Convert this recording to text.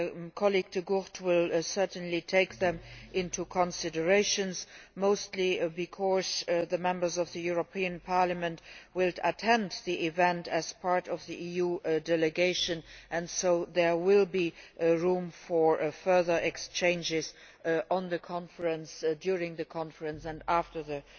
My colleague Mr De Gucht will certainly take them into consideration, mostly because Members of the European Parliament will attend the event as part of the EU delegation and so there will be room for further exchanges on the conference, during the conference and after the